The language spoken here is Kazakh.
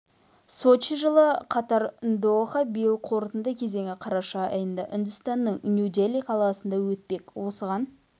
сочи жылы катар доха биыл қорытынды кезеңі қараша айында үндістанның нью дели қаласында өтпек осыған